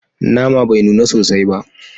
Nama bai nuna sosai ba